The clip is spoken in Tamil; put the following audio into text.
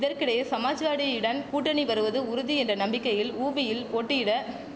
இதற்கிடையே சமாஜ்வாடியிடன் கூட்டணி வருவது உறுதி என்ற நம்பிக்கையில் உபியில் போட்டியிட